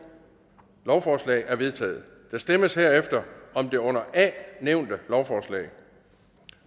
lovforslag er vedtaget der stemmes herefter om det under a nævnte lovforslag